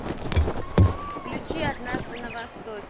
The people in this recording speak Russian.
включи однажды на востоке